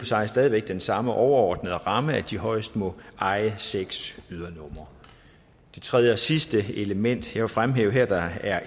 sig stadig væk den samme overordnede ramme nemlig at de højst må eje seks ydernumre det tredje og sidste element vil fremhæve der